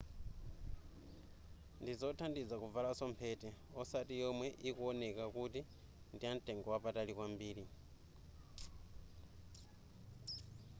ndizothandiza kuvalaso mphete osati yomwe ikuwoneka kuti ndiyamtengo wapatali kwambiri